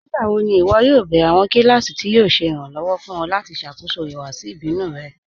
Nígbàwò̀ ní ìwọ́ yóò bẹ̀rẹ̀ awọn kílásì tí yóò ṣè irànlowọ̀ fún ọ̀ lati ṣákóṣọ́ ìhùwàsì ìbínù rẹ̀?